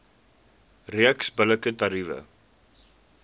reeks billike tariewe